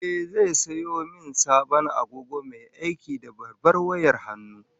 Ehh, zai sayo min sabon agogo mai aiki da babbar wayar hannu